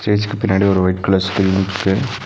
ஸ்டேஜ்க்கு பின்னாடி ஒரு ஒய்ட் கலர் ஸ்கிரீன் இருக்கு.